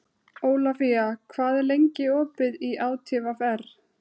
Eyþór, heyrðu í mér eftir átta mínútur.